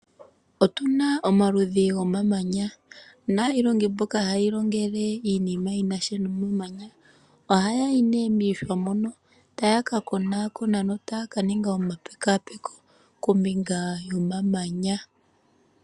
Otuna omaludhi gomamanya naayiilongo mboka haya iilongele iinima yinasha nomamanya, ohaya yi nee miihwa moka taya ka konakona notaya kaninga omapekapeko kombinga yomamanya.